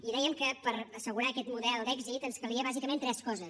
i dèiem que per assegurar aquest model d’èxit ens calia bàsicament tres coses